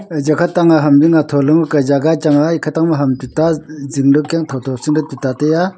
eya kha tang a ham zing atho le ngo ke jaga chang a ekha tohne ta ham zing dao kya chu thotho sing le tuta tai a.